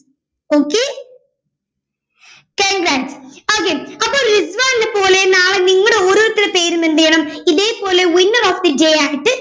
okay congrats okay അപ്പോൾ റിസ്വാനെ പോലെ നാളെ നിങ്ങളുടെ ഓരോരുത്തരുടെ പേരും എന്ത് ചെയ്യണം ഇതേപോലെ winner of the day ആയിട്ട്